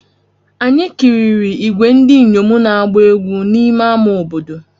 Anyị kiriri ìgwè ndị inyom na-agba egwú n'ime ama obodo.